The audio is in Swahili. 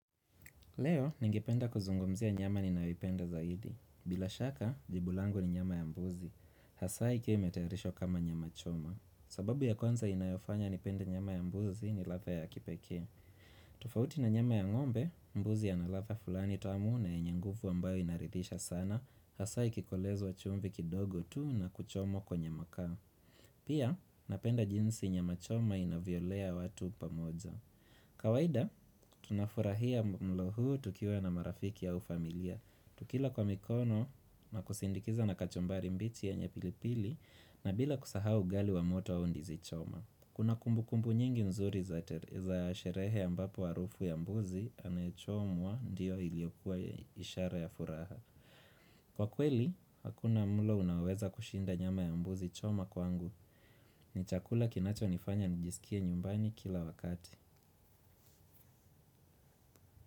Leo, ningependa kuzungumzia nyama ninayoipenda zaidi. Bila shaka, jibu langu ni nyama ya mbuzi. Hasaa ikiwa imetayarishwa kama nyama choma. Sababu ya kwanza inayofanya nipende nyama ya mbuzi ni ladha ya kipekee. Tufauti na nyama ya ng'ombe, mbuzi ana ladha fulani tamu na yenye nguvu ambayo inaridhisha sana. Hasaa ikikolezwa chumvi kidogo tu na kuchomwa kwenye makaa. Pia, napenda jinsi nyama choma inavyolea watu pamoja. Kawaida, tunafurahia mlo huu tukiwa na marafiki au familia Tukila kwa mikono na kusindikiza na kachumbari mbichi yenye pilipili na bila kusahau ugali wa moto au ndizi choma Kuna kumbukumbu nyingi nzuri za sherehe ambapo arufu ya mbuzi Anayechomwa ndio iliokuwa ishara ya furaha Kwa kweli, hakuna mlo unaoweza kushinda nyama ya mbuzi choma kwangu ni chakula kinacho nifanya nijisikie nyumbani kila wakati.